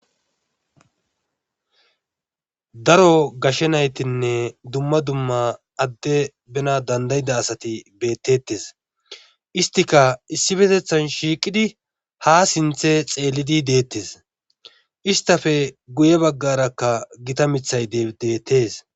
Daro gashe naytinne adde bena dandayida asati betetees. isttikka issippetethan shiiqidi ha sinththe xeelidi deetees. isttappe guye bagara gita miththay beetees.